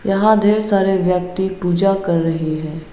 यहां ढेर सारे व्यक्ति पूजा कर रहे है।